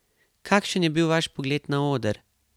Kakšen je bil vaš pogled na oder?